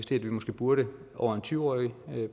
det vi måske burde over en tyve årig